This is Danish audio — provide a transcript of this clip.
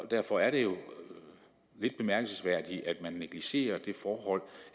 derfor er det jo lidt bemærkelsesværdigt at man negligerer det forhold